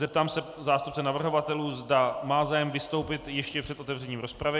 Zeptám se zástupce navrhovatelů, zda má zájem vystoupit ještě před otevřením rozpravy.